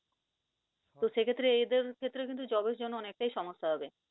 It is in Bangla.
তো সেক্ষেত্রে এদের ক্ষেত্রেও কিন্তু job এর জন্য অনেকটাই সমস্যা হবে।